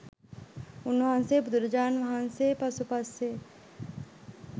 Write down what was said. උන්වහන්සේ බුදුරජාණන් වහන්සේ පසු පස්සේ